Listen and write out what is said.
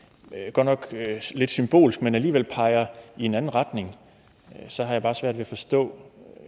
godt nok lidt symbolsk men alligevel peger i en anden retning så har jeg bare svært ved at forstå